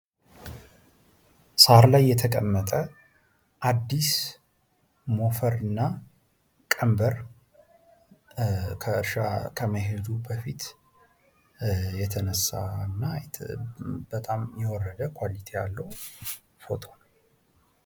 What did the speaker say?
ሳር ላይ የተቀመጠ አድስ የተቀመጠ ሞፈር ቀንበር ከእርሻ ከመሄዱ በፊት የተነሳና በጣም የወረደ ኳሊቲ ያለው ፍቶ ነው።